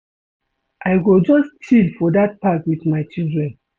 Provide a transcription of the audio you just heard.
I go just chill for dat park wit my children.